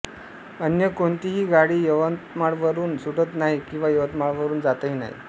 अन्य कोणतीही गाडी यवतमाळवरून सुटत नाही किंवा यवतमाळवरून जातही नाही